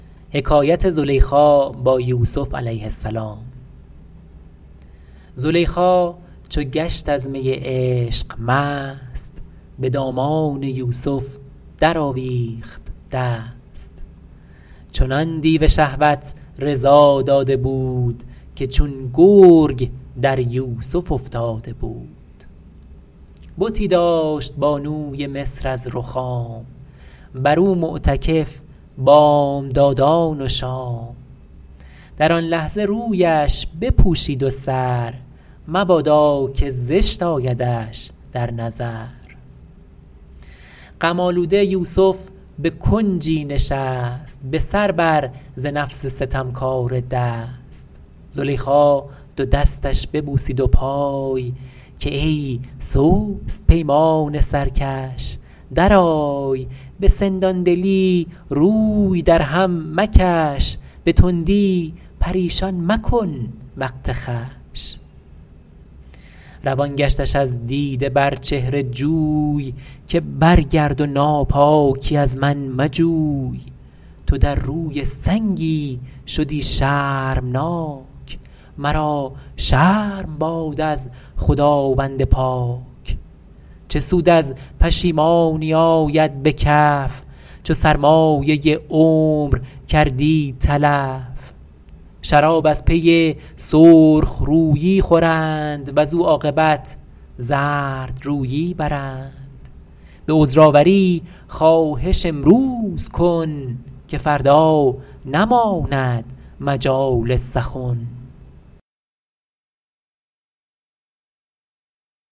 زلیخا چو گشت از می عشق مست به دامان یوسف در آویخت دست چنان دیو شهوت رضا داده بود که چون گرگ در یوسف افتاده بود بتی داشت بانوی مصر از رخام بر او معتکف بامدادان و شام در آن لحظه رویش بپوشید و سر مبادا که زشت آیدش در نظر غم آلوده یوسف به کنجی نشست به سر بر ز نفس ستمکاره دست زلیخا دو دستش ببوسید و پای که ای سست پیمان سرکش درآی به سندان دلی روی در هم مکش به تندی پریشان مکن وقت خوش روان گشتش از دیده بر چهره جوی که برگرد و ناپاکی از من مجوی تو در روی سنگی شدی شرمناک مرا شرم باد از خداوند پاک چه سود از پشیمانی آید به کف چو سرمایه عمر کردی تلف شراب از پی سرخ رویی خورند وز او عاقبت زردرویی برند به عذرآوری خواهش امروز کن که فردا نماند مجال سخن